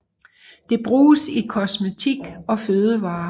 Det bruges i kosmetik og fødevarer